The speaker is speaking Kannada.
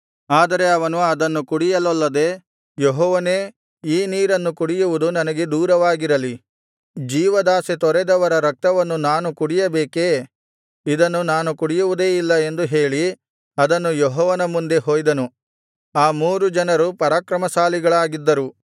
ಆದರೆ ಅವನು ಅದನ್ನು ಕುಡಿಯಲೊಲ್ಲದೆ ಯೆಹೋವನೇ ಈ ನೀರನ್ನು ಕುಡಿಯುವುದು ನನಗೆ ದೂರವಾಗಿರಲಿ ಜೀವದಾಶೆ ತೊರೆದವರ ರಕ್ತವನ್ನು ನಾನು ಕುಡಿಯಬೇಕೆ ಇದನ್ನು ಕುಡಿಯುವುದೇ ಇಲ್ಲ ಎಂದು ಹೇಳಿ ಅದನ್ನು ಯೆಹೋವನ ಮುಂದೆ ಹೊಯ್ದನು ಆ ಮೂರು ಜನರು ಪರಾಕ್ರಮಶಾಲಿಗಳಾಗಿದ್ದರು